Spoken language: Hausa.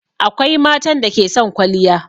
Akwai matan da ke son kwaliya.